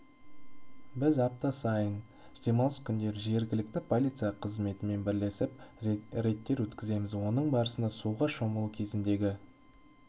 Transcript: біз апта сайын демалыс күндері жергілікті полиция қызметімен бірлесіп рейдтер өткіземіз оның барысында суға шомылу кезіндегі